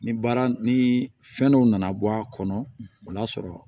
Ni baara ni fɛn dɔw nana bɔ a kɔnɔ o b'a sɔrɔ